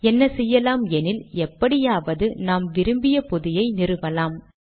என்ன செய்யலாம் எனில் எப்படியாவது நாம் விரும்பிய பொதியை நிறுவலாம்